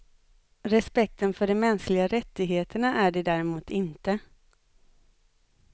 Respekten för de mänskliga rättigheterna är det däremot inte.